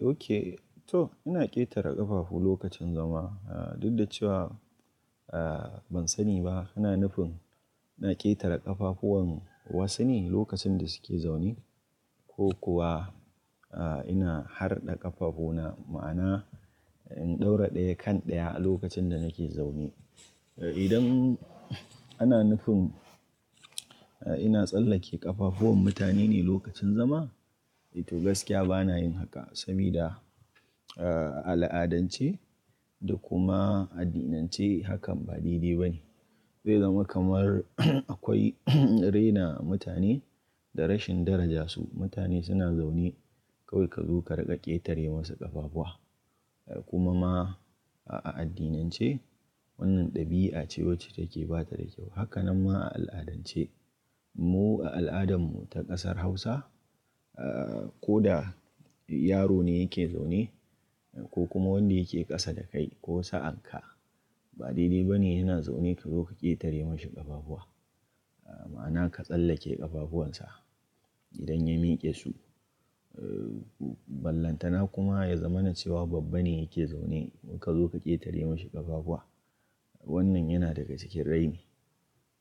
Oke to ina ƙetare ƙafafu lokacin zama. Dudda cewa, eh ban sani ba. Ina nufin na ƙetare ƙafafuwan wasu ne lokacin da suke zaune, ko kuwa a ina harɗe ƙafafu na ma'ana in ɗaura ɗaya kan ɗaya a lokacin da nake zaune. Idan ana nufin ina tsallake ƙafafuwan mutane ne lokacin zama, to gaskiya bana yin haka. Sabida, a al'adance da kuma addinance hakan ba daidai ba ne. Zai zama kamar akwai rena mutane da rashin daraja su. Mutane suna zaune, kawai ka zo ka riƙa ƙetare musu ƙafafuwa. Kuma ma a addinance wannan ɗabi'a ce wacce take ba ta da kyau. Hakkannan ma a al'adance. Mu a al'adan mu ta ƙasar Hausa, ko da yaro ne yake zaune. Ko kuma wanda yake ƙasa da kai ko sa'an ka ba daidai ba ne yana zaune ka zo ka ƙetare mashi ƙafafuwa. Ma'ana ka tsallake ƙafafuwan sa idan ya miƙe su. Ballantana kuma ya zamana cewa babba ne yake zaune, ka zo ka ƙetare mashi ƙafafuwa. Wannan yana daga cikin raini.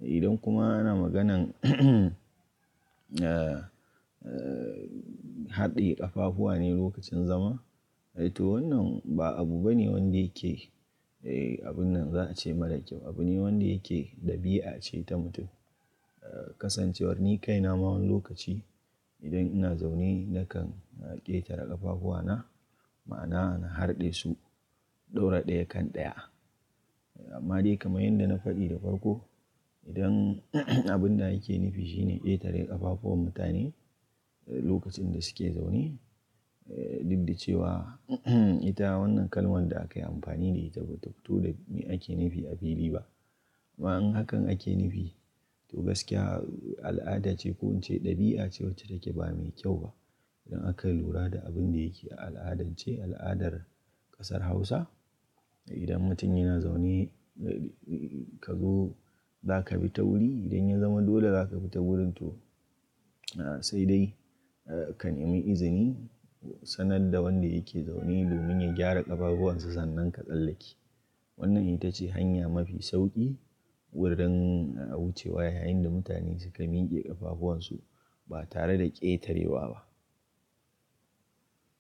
Idan kuma ana maganan haɗe ƙafafuwa ne lokacin zama, eh to wannan ba abu bane wanda yake, abun nan za a ce mara kyau. Abu ne wanda yake ɗabi'a ce ta mutum. Kasancewar ni kaina ma wani lokaci. Idan ina zaune nakan ƙetara ƙafafuwana ma'ana in harɗe su in ɗora ɗaya kan ɗaya. Amma dai kaman yanda na faɗi da farko, idan abun da ake nufi shine ƙetare ƙafafuwan mutane lokacin da suke zaune, eh dudda cewa. Ita wannan kalman da akai amfani da ita ba ta fito da me ake nufi a fili ba. Amma in hakan ake nufi to gaskiya al'ada ce ko in ce ɗabi'a ce wacce take ba mai kyau ba. Idan akai lura da abun da yake a al'adance, al'adar ƙasar Hausa. Idan mutum yana zaune, ka zo za ka bi ta wuri. Idan ya zama dole za ka bi ta wurin to sai dai ka nemi izini sanar da wanda yake zaune domin ya gyara ƙafafuwan sa sannan ka tsallake. Wannan ita ce hanya mafi sauƙi wurin a wucewa yayin da mutane suka miƙe ƙafafuwan su ba tare da ƙetarewa ba.